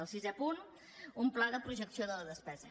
el sisè punt un pla de projecció de la despesa